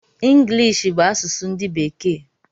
Ngilishi bụ asụsụ ndi bekee